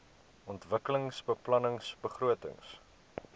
ontwikkelingsbeplanningbegrotings